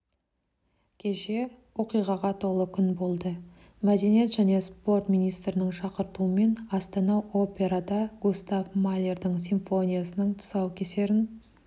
кеше оқиғаға толы күн болды мәдениет және спорт министрінің шақыртуымен астана операда густав малердің симфониясының тұсаукесерін